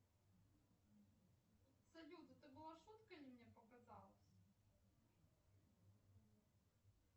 салют это была шутка или мне показалось